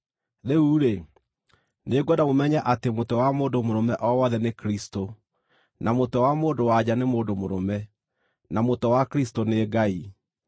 Rĩu-rĩ, nĩngwenda mũmenye atĩ mũtwe wa mũndũ mũrũme o wothe nĩ Kristũ, na mũtwe wa mũndũ-wa-nja nĩ mũndũ mũrũme, na mũtwe wa Kristũ nĩ Ngai.